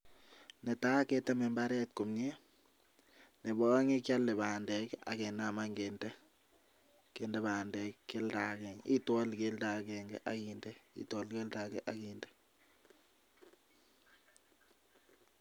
Netai keter imbaret komie. Neba aeng' kiale bandek ak kenam any kende. Itwali keldo agenge ak inde.